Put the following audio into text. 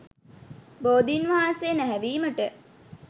බෝධීන් වහන්සේ නැහැවීමට